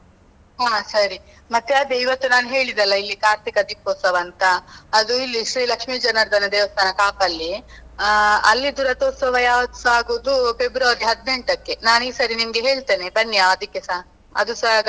ಹಾ ಸರಿ. ಮತ್ತೆ ಅದೇ ಇವತ್ತು ನಾನ್ ಹೇಳಿದೆ ಅಲಾ ಇಲ್ಲಿ ಕಾರ್ತಿಕ ದೀಪೋತ್ಸವ ಅಂತ, ಅದು ಇಲ್ಲಿ ಶ್ರೀ ಲಕ್ಷ್ಮೀಜನಾರ್ದನ ದೇವಸ್ಥಾನ ಕಾಪಲ್ಲಿ, ಅಲ್ಲಿದು ರಥೊತ್ಸವ ಯಾವತ್ತುಸ ಆಗೋದು ಫೆಬ್ರವರಿ ಹದಿನೆಂಟಕ್ಕೆ, ನಾನ್ ಈ ಸರಿ ನಿಮ್ಗೆ ಹೇಳ್ತೇನೆ ಬನ್ನಿ ಅದಿಕ್ಕೆಸಾ.